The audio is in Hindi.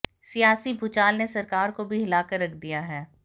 सियासी भूचाल ने सरकार को भी हिलाकर रख दिया है